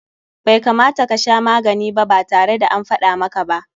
Bai kamata ka sha magani ba tare da an faɗa maka ba.